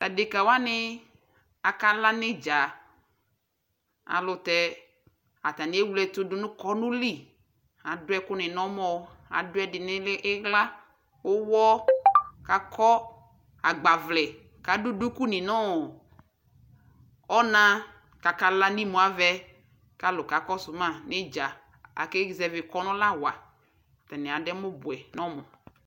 adɛka wani aka la nʋ itdza ,alʋtɛ atani ɛwlɛtʋ dʋnʋ kɔnʋʋli, adʋ ɛkʋ ni nʋ ɔmɔ , adʋ ɛdi nʋ ʋli, ila, ʋwɔ kʋ akɔ agbavlɛ kʋ adʋ dʋkʋ ni nɔɔ ɔna kʋ aka la imʋ avɛ kʋ alʋ kɔsʋ ma nʋ itdza, aka zɛvi kɔnʋ la wa, ataniadɛmʋ bʋɛ nʋ ɔmʋ